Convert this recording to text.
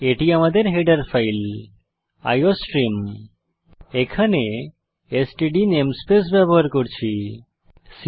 এটি আমাদের header file iostream এখানে এসটিডি নেমস্পেস ব্যবহার করছি